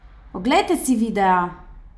Oglejte si videa!